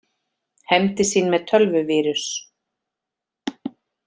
Hefndi sín með tölvuvírus